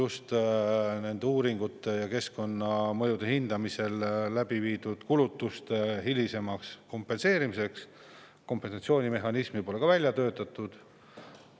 Ka kompensatsioonimehhanismi keskkonnamõjude hindamisel tehtud kulutuste hilisemaks kompenseerimiseks pole välja töötatud.